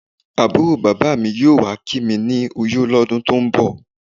Àbúrò bàbá mi yóò wá kí mi ní Uyo lọ́dún tó ń bọ̀.